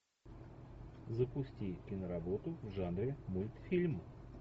запусти киноработу в жанре мультфильм